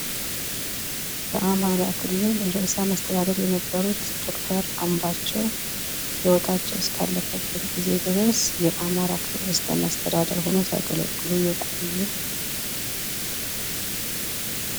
በአማራ ክልል ርዕሰመስተዳድር የነበሩት ዶክተር አምባቸው ህይወታቸው እስከአለፈ ጊዜ ድረስ የአማራ ክልል ርዕሰመስተዳድር ሁነው የቆዩ።